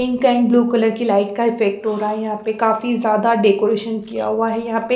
pink and blue colour की light का effect हो रहा है यहां पे काफी ज्यादा डेकोरेशन किया हुआ हैयहां पे--